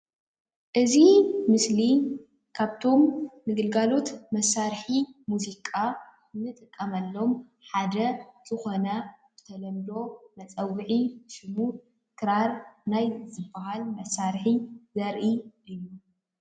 እዚ ምስሊ ካብቶም ንግልጋሎት መሳርሒ ሙዚቃ ንጥቀመሎም ሓደ ዝኮነ ብተለምዶ መፀዊዒ ሽሙ ክራር ናይ ዝባህል መሳርሒ ዘርኢ እዩ።